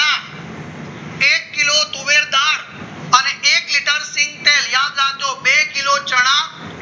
એક લીટર સીંગતેલ યાદ રાખજો બે કિલો ચણા